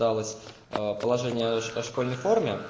положение о школьной форме